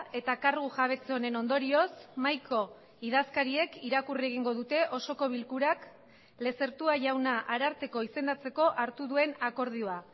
eta kargu jabetze honen ondorioz mahaiko idazkariek irakurri egingo dute osoko bilkurak lezertua jauna ararteko izendatzeko hartu duen akordioa